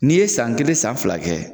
N'i ye san kelen san fila kɛ